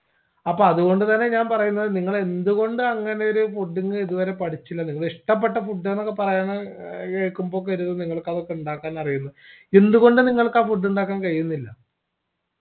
അപ്പോ അതുകൊണ്ടു തന്നെ ഞാൻ പറയുന്നത് നിങ്ങൾ എന്തുകൊണ്ടങ്ങനെ ഒരു food ന് ഇതുവരെ പഠിച്ചില്ല നിങ്ങൾ ഇഷ്ടപ്പെട്ട food ന്നൊക്കെ പറയുന്ന ഏർ കേക്കുമ്പോക്കൊരു നിങ്ങൾക് അതൊക്കെ ഇണ്ടാക്കാൻ അറിയണം എന്തു കൊണ്ട് നിങ്ങൾക്കാ food ഇണ്ടാക്കാൻ കഴിയുന്നില്ല